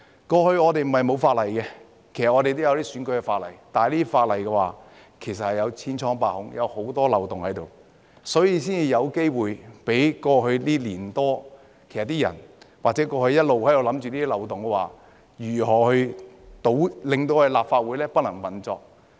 過去，我們不是沒有法例，而是有選舉的法例，但這些法例千瘡百孔，有很多漏洞，所以才有機會讓人在過去1年多或一直在想，如何利用漏洞令立法會不能運作。